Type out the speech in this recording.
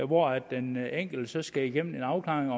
hvor den enkelte skal igennem en afklaring